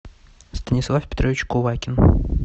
станислав петрович кувакин